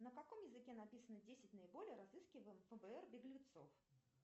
на каком языке написано десять наиболее разыскиваемых фбр беглецов